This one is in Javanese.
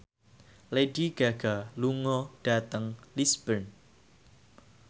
Lady Gaga lunga dhateng Lisburn